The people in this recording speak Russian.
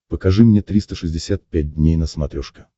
покажи мне триста шестьдесят пять дней на смотрешке